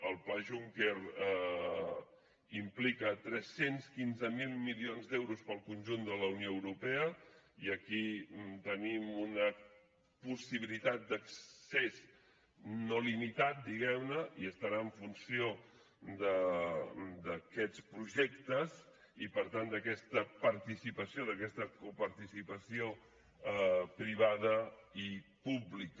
el pla juncker implica tres cents i quinze mil milions d’euros per al conjunt de la unió europea i aquí tenim una possibilitat d’accés no limitat diguem ne i estarà en funció d’aquests projectes i per tant d’aquesta participació d’aquesta coparticipació privada i pública